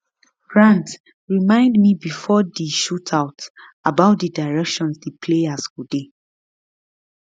grant remind me bifor di shootout about di directions di players go dey